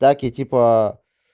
так я типа